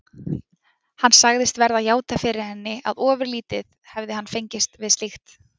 Hann sagðist verða að játa fyrir henni, að ofurlítið hefði hann fengist við slíkt.